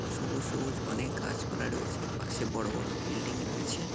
সবুজ সবুজ অনেক গাছপালা রয়েছে পাশে বড় বড় বিল্ডিং রয়েছে।